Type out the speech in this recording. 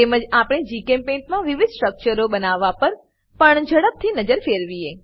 તેમજ આપણે જીચેમ્પેઇન્ટ મા વિવિધ સ્ટ્રક્ચરો બનાવવા પર પણ ઝડપી નજર ફેરવી